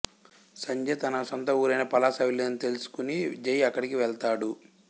సంధ్య తన సొంత ఊరైన పలాస వెళ్ళిందని తెలుసుకుని జై అక్కడికి వెళ్తాడు